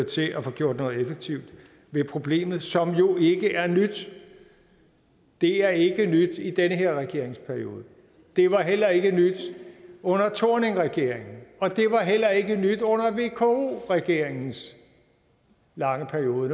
til at få gjort noget effektivt ved problemet som jo ikke er nyt det er ikke nyt i den her regeringsperiode det var heller ikke nyt under thorningregeringen og det var heller ikke nyt under vko regeringens lange periode